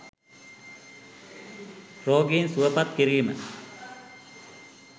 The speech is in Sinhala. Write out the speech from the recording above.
“රෝගීන් සුවපත් කිරීම”